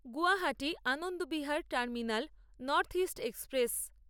Guwahati Anand Vihar terminal Northeast express